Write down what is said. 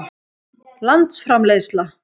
landsframleiðsla